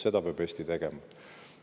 Seda peab Eesti tegema.